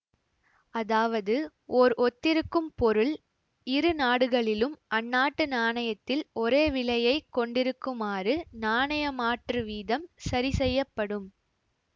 அதாவதுஓர் ஒத்திருக்கும் பொருள் இரு நாடுகளிலும் அந்நாட்டு நாணயத்தில் ஒரே விலையை கொண்டிருக்குமாறு நாணயமாற்றுவீதம் சரிசெய்யப் படும்